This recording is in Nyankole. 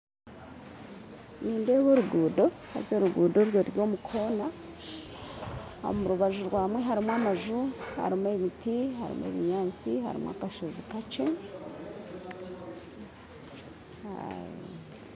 Nindeeba oruguuto haza oruguuto oru ruri omukoona omu rubaju rwamwo harimu amaju, emiti, ebinyaatsi harimu akashoozi kakye